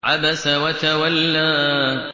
عَبَسَ وَتَوَلَّىٰ